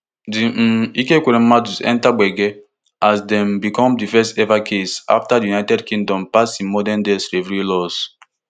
di um ekweremadus enta gbege as dem become di first ever case afta di united kingdom pass im modern day slavery laws